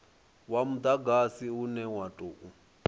wa mudagasi une wa tou